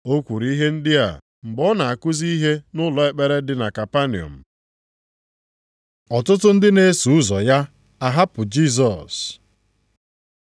O kwuru ihe ndị a mgbe ọ na-akụzi ihe nʼụlọ ekpere dị na Kapanọm. Ọtụtụ ndị na-eso ụzọ ya a hapụ Jisọs